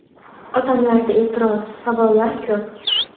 Odamlarda e’tiroz, savollar ko‘p.